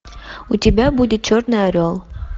у тебя будет черный орел